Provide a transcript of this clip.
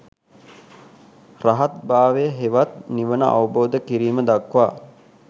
රහත් භාවය හෙවත් නිවන අවබෝධ කිරීම දක්වා